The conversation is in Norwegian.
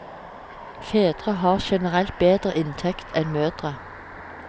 Fedre har generelt bedre inntekt enn mødre.